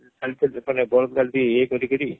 ବଳଦ ଗାଡି ଇଏ କରି କରି